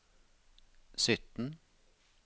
sytten